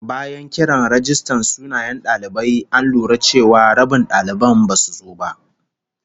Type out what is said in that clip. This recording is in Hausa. Bayan kiran rajistan sunayen dalibai, an lura cewa rabin daliban basu zo ba